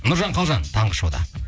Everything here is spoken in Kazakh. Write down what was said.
нұржан қалжан таңғы шоуда